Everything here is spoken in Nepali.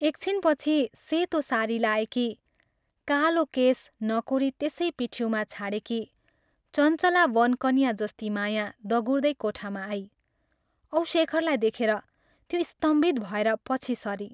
एक छिनपछि सेतो सारी लाएकी, कालो केश नकोरी त्यसै पिठिउँमा छाडेकी, चञ्चला वनकन्या जस्ती माया दगुर्दै कोठामा आई औ शेखरलाई देखेर त्यो स्तम्भित भएर पछि सरी।